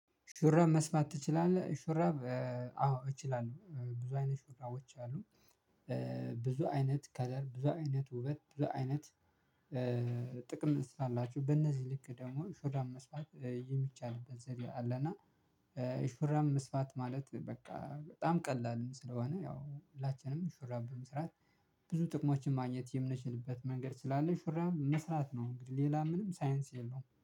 ሹራብ መስፋት ትችላለህ? ሹራብ አዎ እችላለሁ ብዙ አይነት ሹራቦች አሉ። ብዙ አይነት ከለር ብዙ አይነት ውበት ብዙ አይነት። ጥቅም ስላላቸው በነዚህ ልክ ደግሞ ሹራብ መስፋት የሚቻልበት ዘዴ አለ። እና ሹራብ መስፋት ማለት በቃ በጣም ቀላል ስለሆነ ያው ሁላችንም ሹራብ በመስራት ብዙ ጥቅሞችን ማግኘት የምንችልበት መንገድ ስላለ ሹራብ መስራት ነው። እንግዲህ ሌላ ምንም ሳይንስ የለውም